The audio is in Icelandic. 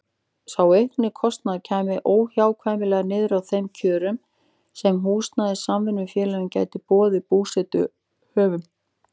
Sá aukni kostnaður kæmi óhjákvæmilega niður á þeim kjörum sem húsnæðissamvinnufélög gætu boðið búseturéttarhöfum.